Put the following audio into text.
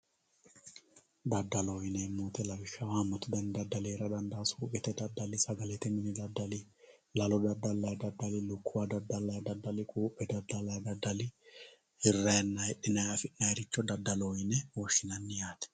Dadalloho yineemo woyite lawishaho haamatu dani dadali heerara dandano suuqete dadali, sagalete mini dadali, lalo dadalayi dadali, lukkuwa dadalayi dadali, quuphe dadalayi dadali hirayinna hidhinayi afinayiricho dadaloho yine woshinayi